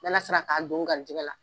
N'Ala sera k'a don n garisigɛ la